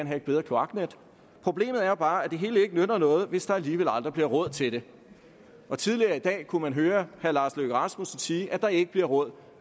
have et bedre kloaknet problemet er bare at det hele ikke nytter noget hvis der alligevel aldrig bliver råd til det tidligere i dag kunne man høre herre lars løkke rasmussen sige at der ikke bliver råd